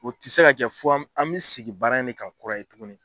O tɛ se ka kɛ fo an bɛ sigi baara in de kan kura ye tugunni.